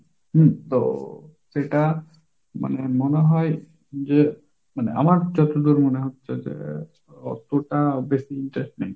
হম তো সেটা মানে মনে হয় যে মানে আমার যতদূর মনে হচ্ছে যে অতটা বেশি interest নেই।